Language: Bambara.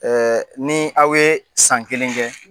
Ɛɛ ni aw ye san kelen kɛ